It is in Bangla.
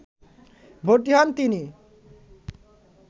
ভর্তি হন তিনি